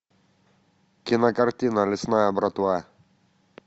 кинокартина лесная братва